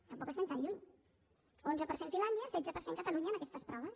tampoc estem tan lluny onze per cent finlàndia setze per cent catalunya en aquestes proves